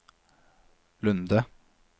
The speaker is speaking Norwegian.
Lunde